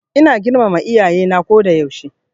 Ina girmama Iyaye na ko da yaushe.